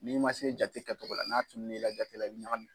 N'i ma se jate kacogo la n'a tunun'i la gafe kɔnɔ, i b ŋagami.